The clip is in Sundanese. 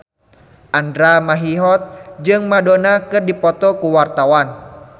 Andra Manihot jeung Madonna keur dipoto ku wartawan